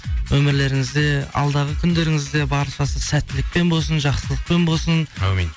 өмірлеріңізде алдағы күндеріңізде баршасы сәттілікпен болсын жақсылықпен болсын әумин